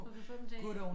Du kan få dem til